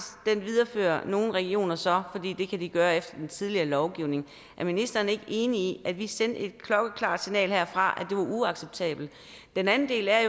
viderefører nogle regioner så fordi de kan gøre det efter den tidligere lovgivning er ministeren ikke enig i at vi sendte et klokkeklart signal herfra om det var uacceptabelt den anden del er